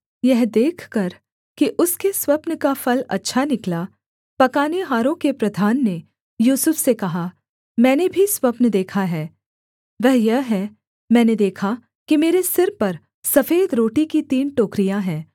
यह देखकर कि उसके स्वप्न का फल अच्छा निकला पकानेहारों के प्रधान ने यूसुफ से कहा मैंने भी स्वप्न देखा है वह यह है मैंने देखा कि मेरे सिर पर सफेद रोटी की तीन टोकरियाँ है